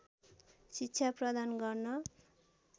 शिक्षा प्रदान गर्न